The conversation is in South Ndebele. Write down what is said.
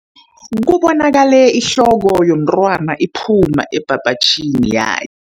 Bekubonakala ihloko yomntwana iphuma ebhabhatjhini ya